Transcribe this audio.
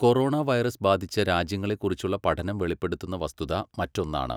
Corona virus ബാധിച്ച രാജ്യങ്ങളെ കുറിച്ചുള്ള പഠനം വെളിപ്പെടുത്തുന്ന വസ്തുത മറ്റൊന്നാണ്.